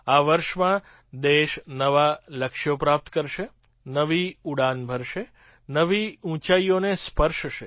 આ વર્ષમાં દેશ નવાં લક્ષ્યો પ્રાપ્ત કરશે નવી ઉડાન ભરશે નવી ઊંચાઈઓને સ્પર્શશે